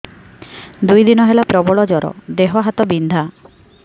ଦୁଇ ଦିନ ହେଲା ପ୍ରବଳ ଜର ଦେହ ହାତ ବିନ୍ଧା